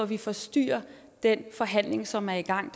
vi forstyrrer den forhandling som er i gang